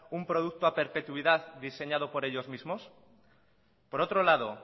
un producto a perpetuidad diseñado por ellos mismos por otro lado